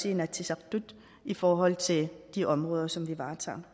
inatsisartut i forhold til de områder som vi varetager